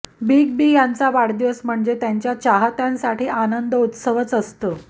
big B यांचा वाढदिवस म्हणजे त्यांच्या चाहत्यांसाठी आनंदोत्सवच असतो